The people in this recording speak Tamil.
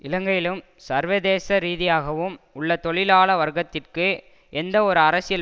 இலங்கையிலும் சர்வதேச ரீதியாகவும் உள்ள தொழிலாள வர்க்கத்திற்கு எந்த ஒரு அரசியல்